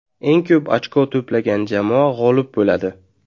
Eng ko‘p ochko to‘plagan jamoa g‘olib bo‘ladi.